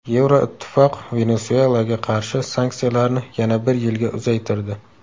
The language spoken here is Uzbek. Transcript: Yevroittifoq Venesuelaga qarshi sanksiyalarni yana bir yilga uzaytirdi.